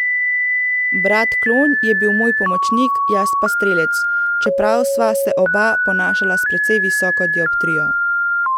Brat klon je bil moj pomočnik, jaz pa strelec, čeprav sva se oba ponašala s precej visoko dioptrijo.